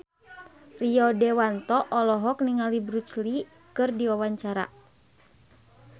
Rio Dewanto olohok ningali Bruce Lee keur diwawancara